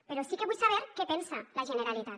però sí que vull saber què pensa la generalitat